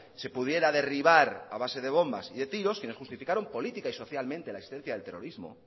se pudiera derribar a base de bombas y de tiros quienes justificaron política y socialmente la existencia del terrorismo